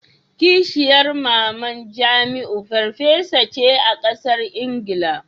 Kishiyar maman jamiu farfesa ce a kasar Ingila.